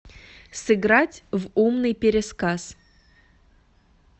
сыграть в умный пересказ